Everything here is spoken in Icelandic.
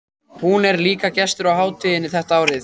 Hún er líka gestur á hátíðinni þetta árið.